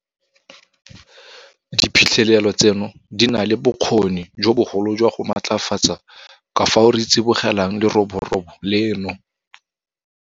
Diphitlhelelo tseno di na le bokgoni jo bogolo jwa go matlafatsa ka fao re tsibogelang leroborobo leno.